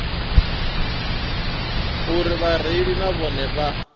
uri vhareili na vhone vha